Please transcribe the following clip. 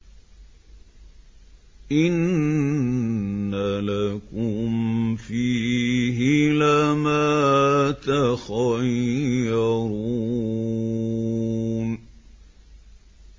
إِنَّ لَكُمْ فِيهِ لَمَا تَخَيَّرُونَ